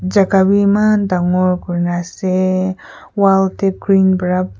chakka be maan dangor kuri na ase wall teh green para--